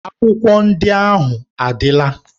Akwụkwọ ndị ahụ adịla.